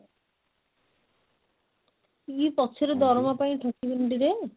ଇଏ ପଛରେ ଦରମା ପାଇଁ ଠକିବନି ତ?